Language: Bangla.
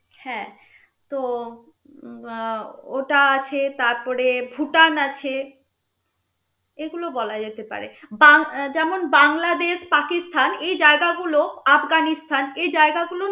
হ্যা তো উম আহ ওটা আছে তারপরে ভুটান আছে এগুলো বলা যেতে পারে বাং~ যেমন বাংলাদেশ পাকিস্তান এই জায়গা গুলো আফগানস্তান এই জায়গা গুলো